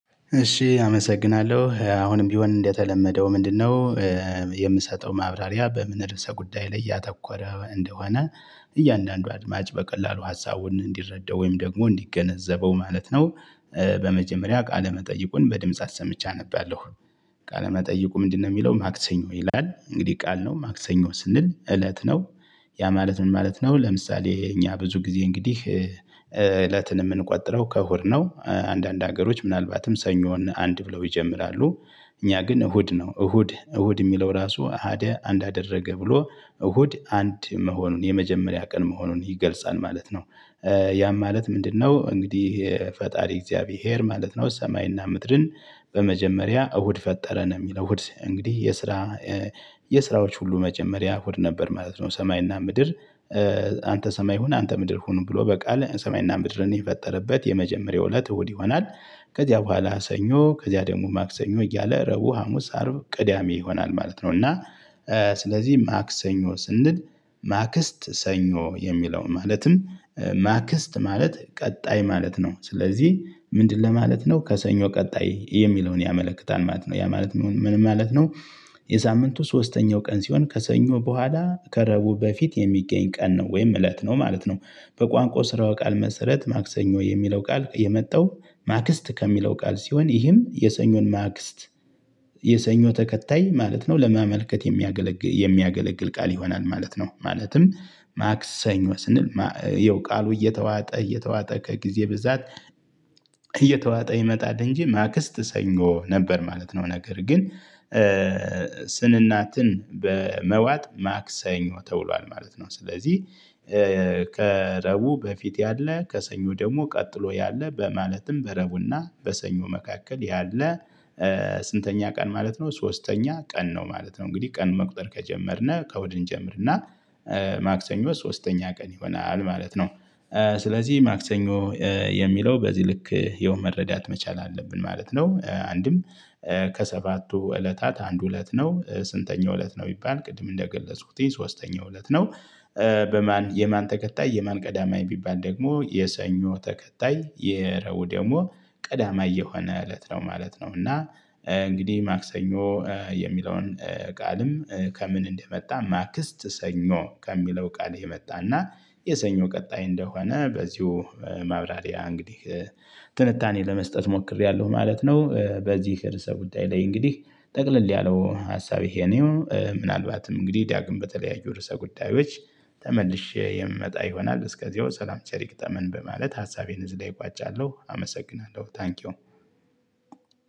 እሺ አመሰግናለሁ አሁንም ቢሆን እንደተለመደው ምንድነው? የምሰጠው ማብራሪያ በምን ርዕሰ ጉዳይ ላይ ያተኮረ እንደሆነ እያንዳንዱ አድማጭ በቀላሉ ሀሳቡን እንዲረዳው ወይም ደግሞ እንዲገነዘበው ማለት ነው። በመጀመሪያ ቃለመጠይቁን በድምጽ አሰምቼ አነባለሁ። ቃለመጠይቁ ምንድነው የሚለው ማክሰኞ ይላል እንግዲህ ቃል ነው ማክሰኞ ስንል እለት ነው ያ ማለት ምን ማለት ነው? ለምሳሌ እኛ ብዙ ጊዜ እንግዲህ እለትን የምንቆጥረው ከእሁድ ነው አንዳንድ ሀገሮች ምናልባትም ሰኞን አንድ ብለው ይጀምራሉ። እኛ ግን እሁድ ነው እሁድ እሁድ የሚለው ራሱ አሀደ አንድ አደረገ ብሎ እሁድ አንድ መሆኑን የመጀመሪያ ቀን መሆኑን ይገልጻል ማለት ነው። ያም ማለት ምንድነው እንግዲህ ፈጣሪ እግዚአብሔር ማለት ነው። ሰማይና ምድርን በመጀመሪያ እሁድ ፈጠረ ነው የሚለው እሁድ እንግዲህ የስራ የስራዎች ሁሉ መጀመሪያ ሆድ ነበር ማለት ነው። ሰማይና ምድር አንተ ሰማይ ሁን አንተ ምድር ሁን ብሎ በቃል ሰማይና ምድርን የፈጠረበት የመጀመሪያው እለት እሁድ ይሆናል። ከዚያ በኋላ ሰኞ ከዚያ ደግሞ ማክሰኞ እያለ ረቡ ሀሙስ አርብ ቅዳሜ ይሆናል ማለት ነው። እና ስለዚህ ማክሰኞ ስንል ማክስት ሰኞ የሚለው ማለትም ማክስት ማለት ቀጣይ ማለት ነው። ስለዚህ ምንድነው ማለት ነው? ከሰኞ ቀጣይ የሚለውን ያመለክታል ማለት ነው። ያ ማለት ምን ማለት ነው? የሳምንቱ ሶስተኛው ቀን ሲሆን ከሰኞ በኋላ ከረቡ በፊት የሚገኝ ቀን ነው ወይም እለት ነው ማለት ነው። በቋንቋ ስረወ ቃል መሰረት ማክሰኞ የሚለው ቃል የመጣው ማክስት ከሚለው ቃል ሲሆን ይህም የሰኞን ማክስት የሰኞ ተከታይ ማለት ነው ለማመልከት የሚያገለግል የሚያገለግል ቃል ይሆናል ማለት ነው። ማለትም ማክሰኞ ስንል ይኸው ቃሉ እየተዋጠ እየተዋጠ ከጊዜ ብዛት እየተዋጠ ይመጣል እንጂ ማክስት ሰኞ ነበር ማለት ነው። ነገር ግን በመዋጥ ማክሰኞ ተውሏል ማለት ነው። ስለዚህ ከረቡዕ በፊት ያለ ከሰኞ ደግሞ ቀጥሎ ያለ በማለትም በረቡዕና በሰኞ መካከል ያለ ስንተኛ ቀን ማለት ነው? ሶስተኛ ቀን ነው ማለት ነው። እንግዲህ ቀን መቁጠር ከጀመርነ ከእሁድ እንጀምርና ማክሰኞ ሶስተኛ ቀን ይሆናል ማለት ነው። ስለዚህ ማክሰኞ የሚለው በዚህ ልክ ያው መረዳት መቻል አለብን ማለት ነው። አንድም ከሰባቱ እለታት አንዱ እለት ነው ስንተኛው እለት ነው? ቢባል ቅድም እንደ ግለጽኩትኝ ሶስተኛው እለት ነው። በማን የማን ተከታይ የማን ቀዳማይ ቢባል ደግሞ የሰኞ ተከታይ የረቡዕ ደግሞ ቀዳማይ የሆነ እለት ነው ማለት ነው። እና እንግዲህ ማክሰኞ የሚለውን ቃልም ከምን እንደመጣ ማክስት ሰኞ ከሚለው ቃል የመጣና የሰኞ ቀጣይ እንደሆነ በዚሁ ማብራሪያ እንግዲህ ትንታኔ ለመስጠት ሞክሬያለሁ ማለት ነው። በዚህ ርዕሰ ጉዳይ ላይ እንግዲህ ጠቅለል ያለው ሀሳብ ይሄ ነው። ምናልባትም እንግዲህ ዳግም በተለያዩ ርዕሰ ጉዳዮች ተመልሼ የምመጣ ይሆናል እስከዚያው ሰላም ቸር ይግጠመን በማለት ሀሳቤን እዚህ ላይ እቋጫለሁ። አመሰግናለሁ ታንኪው።